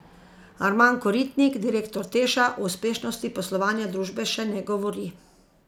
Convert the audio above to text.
Arman Koritnik, direktor Teša, o uspešnosti poslovanja družbe še ne govori.